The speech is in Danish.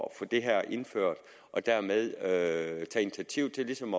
at få det her indført og dermed tage initiativ til ligesom